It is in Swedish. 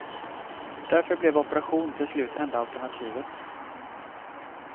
Därför blev operation till slut enda alternativet.